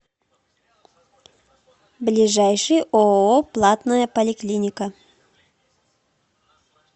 ближайший ооо платная поликлиника